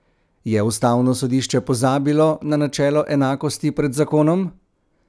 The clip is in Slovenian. Je ustavno sodišče pozabilo na načelo enakosti pred zakonom?